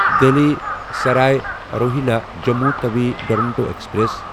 Delhi Sarai Rohilla Jammu Tawi Duronto express